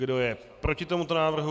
Kdo je proti tomuto návrhu?